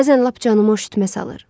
Bəzən lap canıma üşütmə salır.